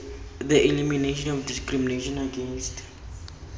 the elimination of discrimination against